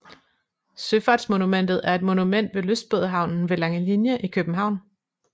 Søfartsmonumentet er et monument ved lystbådehavnen ved Langelinie i København